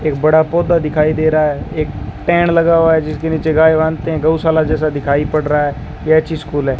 एक बड़ा पौधा दिखाई दे रहा है एक पेड़ लगा हुआ है जिसके नीचे गाय बांधते है गौशाला जैसा दिखाई पड़ रहा है यह अच्छी स्कूल है।